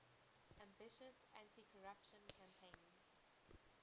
ambitious anticorruption campaign